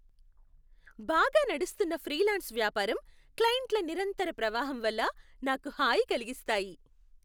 బాగా నడుస్తున్న ఫ్రీలాన్స్ వ్యాపారం, క్లయింట్ల నిరంతర ప్రవాహం వల్ల నాకు హాయి కలిగిస్తాయి.